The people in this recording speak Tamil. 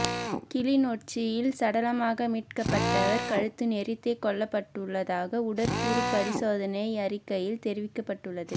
கிளிநொச்சியில் சடலமாக மீட்க்கப்பட்டவர் கழுத்து நெரித்தே கொல்லப்பட்டுள்ளதாக உடற்கூறுப் பரிசோதனை அறிக்கையில் தெரிவிக்கப்பட்டுள்ளது